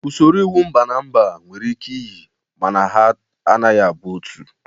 Usoro iwu mba na mba nwere ike iyi ma na ha anaghị abụ otu.